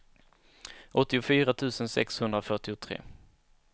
åttiofyra tusen sexhundrafyrtiotre